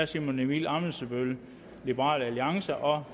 simon emil ammitzbøll